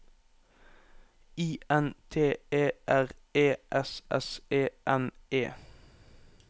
I N T E R E S S E N E